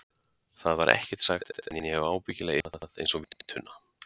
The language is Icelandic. Það var ekkert sagt, en ég hef ábyggilega ilmað einsog víntunna.